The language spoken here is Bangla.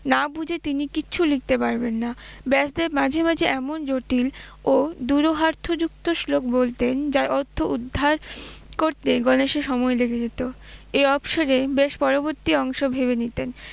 না বুঝে তিনি কিচ্ছু লিখতে পারবেন না, ব্যাসদেব মাঝে মাঝে এমন জটিল ও দুরুহার্থ যুক্ত শ্লোক বলতেন যার অর্থ উদ্ধার করতে গণেশের সময় লেগে যেত, এই অবসরে ব্যাস পরবর্তী অংশ ভেবে নিতেন।